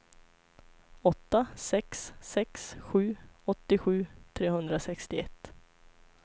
åtta sex sex sju åttiosju trehundrasextioett